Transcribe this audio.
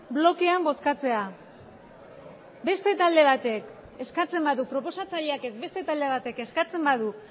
blokean bozkatzea beste talde batek eskatzen badu proposatzaileak ez beste talde batek eskatzen badu